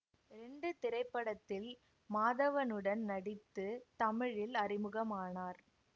ரெண்டு திரைப்படத்தில் மாதவனுடன் நடித்து தமிழில் அறிமுகமானார்